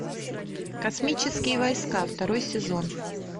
космические войска второй сезон